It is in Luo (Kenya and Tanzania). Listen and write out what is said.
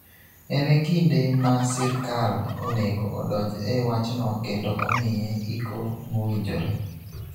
En e kinde ma sirkal onego odonj e wachno kendo omiye iko mowinjore.